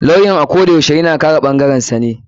Lawyan ako yashe yana kare ɓangarensa ne.